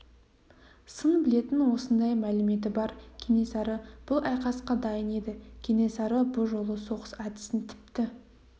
сын білетін осындай мәліметі бар кенесары бұл айқасқа дайын еді кенесары бұ жолы соғыс әдісін тіпті